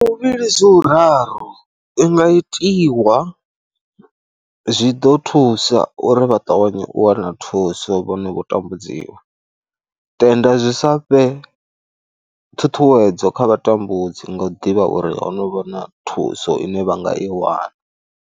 Hu u vhili zwi u raru, i nga itiwa, zwi ḓo thusa uri vha ṱavhanye u wana thuso vho no khou tambudziwa tenda zwi sa fhe ṱhuṱhuwedzo kha vha tambudzi nga u ḓivha uri ho no vha na thuso ine vha nga i wana.